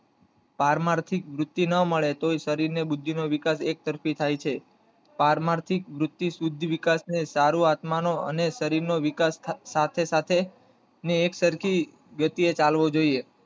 પારમાર્થિક વૃત્તિ ના મળે તો વૃદ્ધિ નો વિકાસ એકતરફી થાય છે પારમાર્થિક વૃત્તિ બુદ્ધિવિકાસ ને સારું આત્મા નો અને શરીર વિકાસ નો સાથે સાથે અને એકસરખી ગતિ હોવું જોઈએ